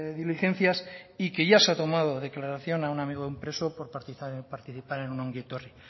diligencias y que ya se ha tomado declaración a un amigo de un preso por participar en un ongietorri